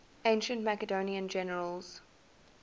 ancient macedonian generals